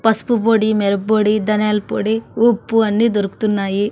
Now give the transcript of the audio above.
పసుపు పొడి మిరప పొడి ధనియాల పొడి ఉప్పు అన్ని దొరుకుతున్నాయి.